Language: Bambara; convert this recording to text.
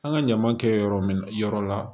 An ka ɲaman kɛ yɔrɔ min yɔrɔ la